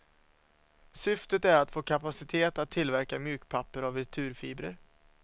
Syftet är att få kapacitet att tillverka mjukpapper av returfibrer.